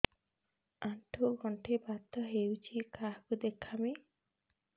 ଆଣ୍ଠୁ ଗଣ୍ଠି ବାତ ହେଇଚି କାହାକୁ ଦେଖାମି